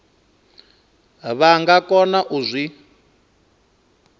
vha nga kona u zwi